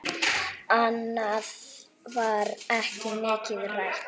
Annað var ekki mikið rætt.